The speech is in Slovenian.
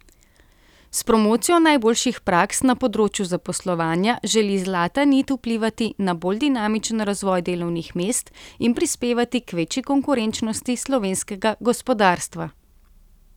S promocijo najboljših praks na področju zaposlovanja želi Zlata nit vplivati na bolj dinamičen razvoj delovnih mest in prispevati k večji konkurenčnosti slovenskega gospodarstva.